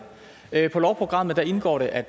i lovprogrammet indgår det at